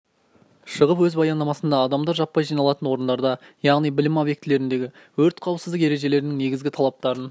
шығып өз баяндамасында адамдар жаппай жиналатын орындарда яғни білім объектілеріндегі өрт қауіпсіздік ережелерінің негізгі талаптарын